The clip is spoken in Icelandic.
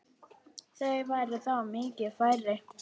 Þau væru þá miklu færri.